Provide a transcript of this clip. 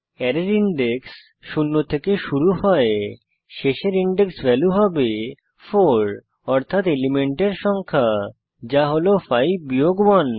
array index শূন্য থেকে শুরু হয় শেষের ইনডেক্স ভ্যালু হবে 4 অর্থাত এলিমেন্টের সংখ্যা যা হল 5 বিয়োগ 1